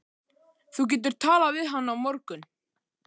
Þú getur talað við hana á morgun.